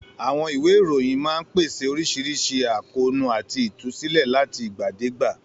Àwọn ìwé ìròyìn máa ń pèsè oríṣiríṣi àkóónú àti ìtúsílẹ̀ láti ìgbàdégbà.